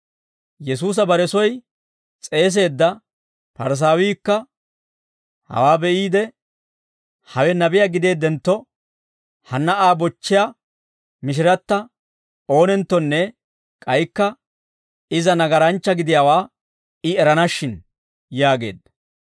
Yesuusa bare soy s'eeseedda Parisaawiikka hawaa be'iide, «Hawe nabiyaa gideeddentto, hanna Aa bochchiyaa mishiratta oonenttonne k'aykka iza nagaranchchaa gidiyaawaa I erana shin» yaageedda.